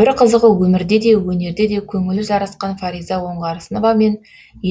бір қызығы өмірде де өнерде де көңілі жарасқан фариза оңғарсыновамен